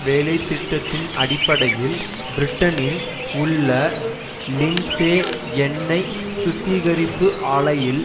வேலை திட்டத்தின் அடிப்படையில் பிரிட்டனின் உள்ள லிண்ட்சே எண்ணெய் சுத்திகரிப்பு ஆலையில்